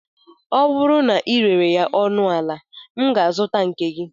Ọ bụrụ na ị rere ya ọnụ ala, m ga-azụta nke gi